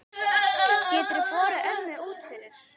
Geturðu borið ömmu út fyrir?